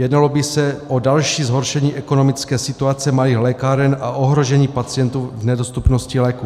Jednalo by se o další zhoršení ekonomické situace malých lékáren a ohrožení pacientů v nedostupnosti léků.